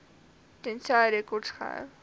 tensy rekords gehou